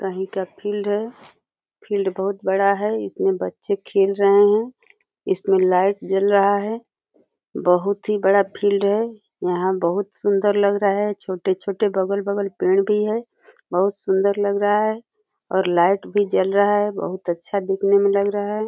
कहीं का फील्ड है। फील्ड बहुत बड़ा है। इसमें बच्चे खेल रहे हैं। इसमें लाइट जल रहा है। बहुत ही बड़ा फील्ड है। यहाँ बहुत सुंदर लग रहा है। छोटे-छोटे बगल-बगल पेड़ भी हैं। बहुत सुंदर लग रहा है और लाइट भी जल रहा है। बहुत अच्छा दिखने में लग रहा है।